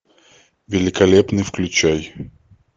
великолепный включай